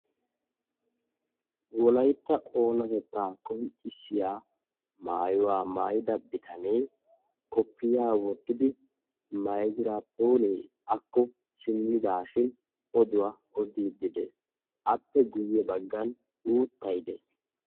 Wolaytta oonatettaa qonccissiya maayuwa maayida bitanee koppiya wottidi maygiraappoonee akko simmidaashin oduwa odiiddi dees. Appe guyye baggan uuttay dees.